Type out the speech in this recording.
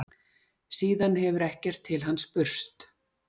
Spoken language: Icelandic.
Síðan hefur ekkert til hans spurst